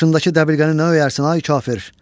Başındakı dəbilqəni nə öyərsən, ay kafir?